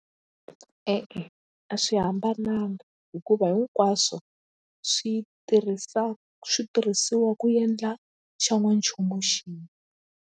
E-e a swi hambananga hikuva hinkwaswo swi tirhisa switirhisiwa ku endla xan'wanchumu xin'we.